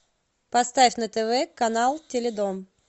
поставь на тв канал теледом